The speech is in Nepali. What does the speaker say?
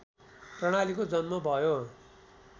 प्रणालीको जन्म भयो